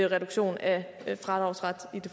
reduktion af fradraget